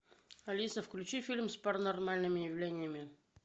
алиса включи фильм с паранормальными явлениями